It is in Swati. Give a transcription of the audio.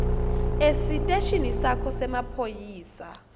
esiteshini sakho semaphoyisa